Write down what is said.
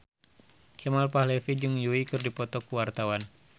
Kemal Palevi jeung Yui keur dipoto ku wartawan